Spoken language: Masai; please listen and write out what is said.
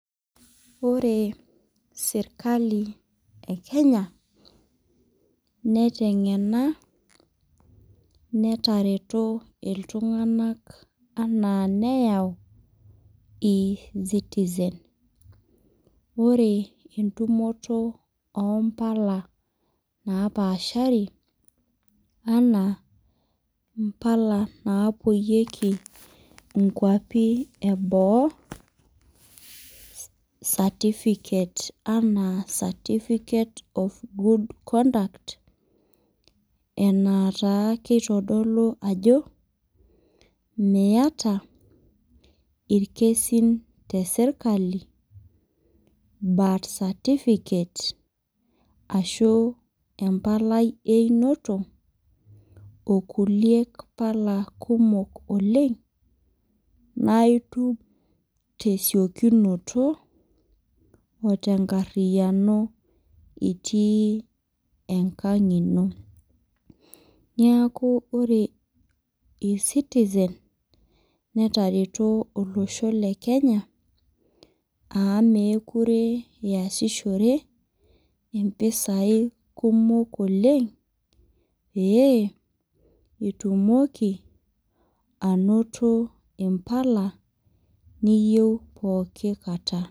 Ore serkali e Kenya neiteng'ena netareto iltung'anak anaa neyau eCitzen. Ore entumoto o mpala napaashari anaa impala naapuoieki inkwapi e boo, certificates anaa certificate of good conduct, enataa keitodolu ajo miata ilkesin te sirkali, birth certificate, ashu empalai e einoto o kulie pala te siokinoto o tenkariyano itii enkang' ino. Neaku ore eCitizen netareto olosho le Kenya amu mekure iasishore impisai kumok oleng' pee itumoki ainoto impala niyou pooki kata.